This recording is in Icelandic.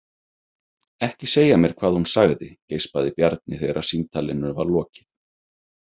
Ekki segja mér hvað hún sagði, geispaði Bjarni þegar símtalinu var lokið.